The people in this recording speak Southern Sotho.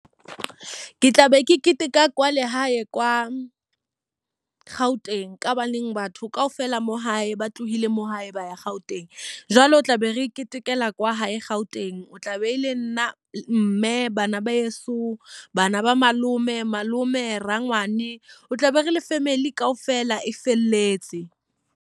Ke tlabe ke keteka kwa le hae kwa Gauteng. Ka hobaneng batho ka ofela mo hae ba tlohile mo hae ba ya Gauteng. Jwale o tla be re ketekela kwa hae Gauteng, e tla be e le nna, mme, bana ba heso, bana ba malome malome, rangwane o tla be re le family ka ofela e felletse.